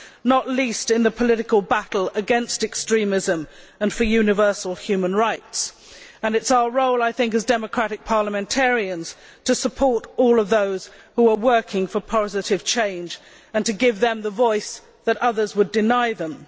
not least in the political battle against extremism and for universal human rights, and it is our role as democratic parliamentarians to support all those who are working for positive change and to give them the voice that others would deny them.